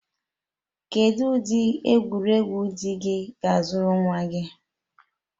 Kedu ụdị egwuregwu di gị ga-azụrụ nwa gị?